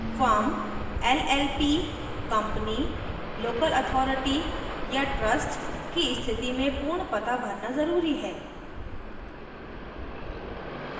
firm llp company local authority या trust की स्थिति में पूर्ण पता भरना ज़रूरी है